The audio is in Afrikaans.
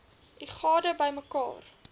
u gade bymekaar